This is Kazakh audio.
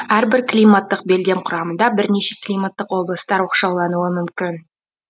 әрбір климаттық белдем құрамында бірнеше климаттық облыстар оқшаулануы мүмкін